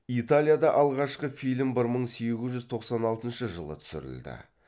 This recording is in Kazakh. италияда алғашқы фильм бір мың сегіз жүз тоқсан алтыншы жылы түсірілді